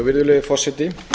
virðulegi forseti